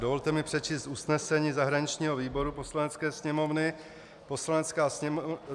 Dovolte mi přečíst usnesení zahraničního výboru Poslanecké sněmovny.